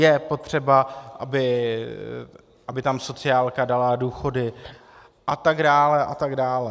Je potřeba, aby tam sociálka dala důchody, a tak dále, a tak dále.